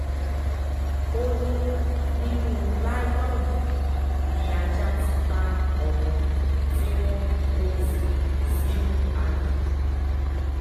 ó ní nínú láìlóònù ni ajá ti bá ọmọ tí wọn kò tì sínú aginjù yìí